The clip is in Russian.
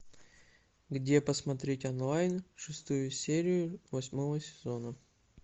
где посмотреть онлайн шестую серию восьмого сезона